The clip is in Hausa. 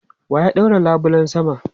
Wa ya ɗaure labulen sama?